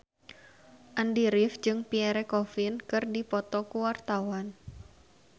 Andy rif jeung Pierre Coffin keur dipoto ku wartawan